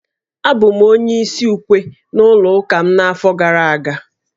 Abụ m onye isi ukwe n'ụlọ ụka m n'afọ gara aga